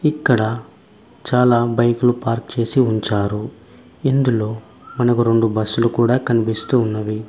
ఇక్కడ చాలా బైకు లు పార్క్ చేసి ఉంచారు ఇందులో మనకు రొండు బస్సు లు కూడా కనిపిస్తూ ఉన్నవి.